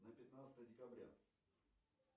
на пятнадцатое декабря